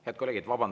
Head kolleegid!